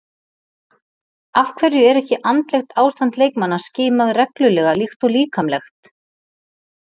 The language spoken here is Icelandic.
Af hverju er ekki andlegt ástand leikmanna skimað reglulega líkt og líkamlegt?